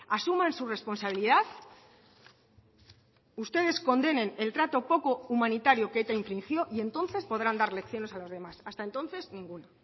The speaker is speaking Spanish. asuman su responsabilidad ustedes condenen el trato poco humanitario que eta infringió y entonces podrán dar lecciones a los demás hasta entonces ninguna